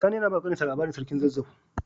Sani yAna bawa kanin shi labarin sarkin zazzau